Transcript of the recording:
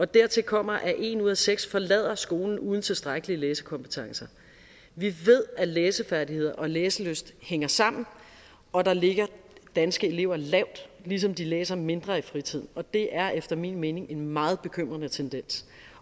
dertil kommer at en ud af seks forlader skolen uden tilstrækkelige læsekompetencer vi ved at læsefærdigheder og læselyst hænger sammen og der ligger danske elever lavt ligesom de læser mindre i fritiden og det er efter min mening en meget bekymrende tendens